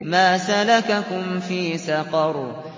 مَا سَلَكَكُمْ فِي سَقَرَ